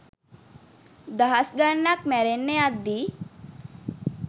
දහස් ගණනක් මැරෙන්න යද්දී